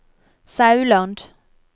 Sauland